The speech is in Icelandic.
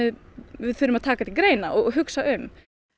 við þurfum að taka til greina og hugsa um